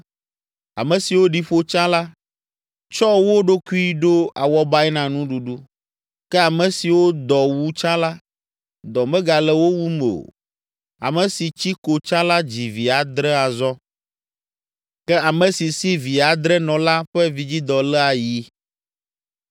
Ame siwo ɖi ƒo tsã la, tsɔ wo ɖokui ɖo awɔbae na nuɖuɖu, ke ame siwo dɔ wu tsã la, dɔ megale wo wum o. Ame si tsi ko tsã la dzi vi adre azɔ, ke ame si si vi adre nɔ la ƒe vidzidɔ lé ayi.